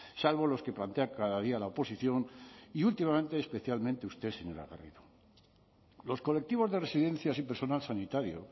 salvo los que plantea cada día la oposición y últimamente especialmente usted señora garrido los colectivos de residencias y personal sanitario